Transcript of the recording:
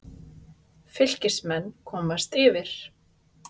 Fylkismenn komast yfir.